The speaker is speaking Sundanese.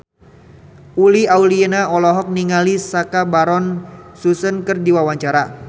Uli Auliani olohok ningali Sacha Baron Cohen keur diwawancara